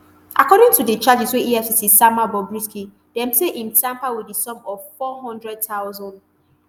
according to di charges wey efcc sama bobrisky dem say im tamper wit di sum of nfour hundred thousand